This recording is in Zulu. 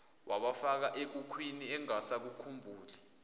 wabafaka ekhukhwini engasakhumbuli